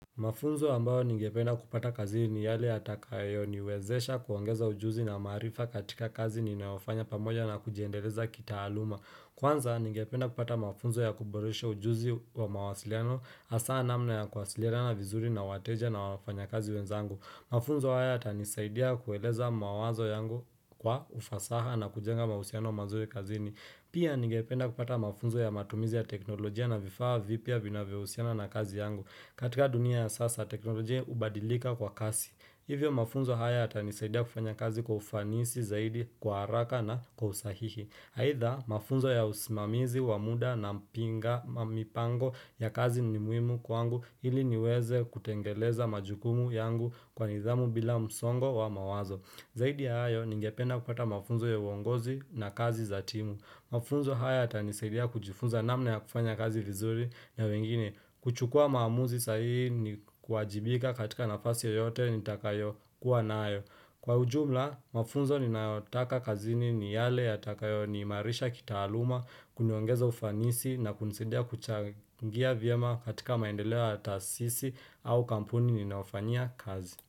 Mafunzo ambayo ningependa kupata kazini ni yale atakaayo niwezesha kuongeza ujuzi na marifa katika kazi ni naofanya pamoja na kujiendeleza kita aluma. Kwanza ningependa kupata mafunzo ya kuboresha ujuzi wa mawasiliano asaa namna ya kuwasiliana na vizuri na wateja na wafanya kazi wenzangu. Mafunzo haya ata nisaidia kueleza mawazo yangu kwa ufasaha na kujenga mahusiano mazue kazi ni. Pia ningependa kupata mafunzo ya matumizi ya teknolojia na vifaa vipya vinavyohusiana na kazi yangu. Katika dunia ya sasa teknolojia ubadilika kwa kasi Hivyo mafunzo haya ata nisaidia kufanya kazi kwa ufanisi zaidi kwa haraka na kwa usahihi aidha mafunzo ya usimamizi wa muda na mpinga mipango ya kazi ni muhimu kwangu ili niweze kutengeleza majukumu yangu kwa nidhamu bila msongo wa mawazo Zaidi ya hayo ningependa kupata mafunzo ya uongozi na kazi za timu Mafunzo haya yata nisaidia kujifunza namna ya kufanya kazi vizurina wengine. Kuchukua maamuzi sahi ni kuajibika katika nafasi yoyote ni takayo kuwa naayo. Kwa ujumla, mafunzo ni naotaka kazini ni yale ya takayo ni marisha kitaaluma, kuniongeza ufanisi na kunisadia kuchangia vyema katika maendeleo ya tasisi au kampuni ni naofanyia kazi.